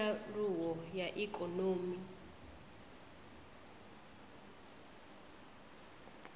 kha nyaluwo ya ikonomi ya